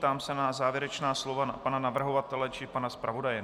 Ptám se na závěrečná slova pana navrhovatele či pana zpravodaje.